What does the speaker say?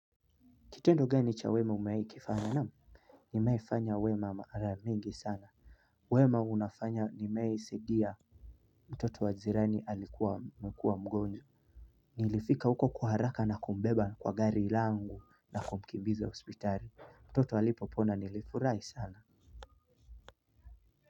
Kitendo geni cha wema umeaikifanya namu? Nimeaifanya wema mara mingi sana. Wema hunafanya nimaeisidia. Mtoto wajirani alikuwa anakua mgonjwa. Nilifika huko kwa haraka nakumbeba kwa gari langu na kumkimbiza hospitali. Mtoto alipo pona nilifurai sana.